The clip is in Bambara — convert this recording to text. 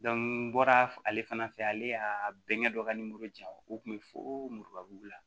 n bɔra ale fana fɛ ale y'a bɛnkɛ dɔ ka nimoro di yan o kun bɛ fo muramugu la